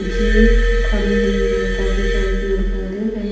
जीब खड़ी हुई हे काफी सारे पेड़ पोधे हैं।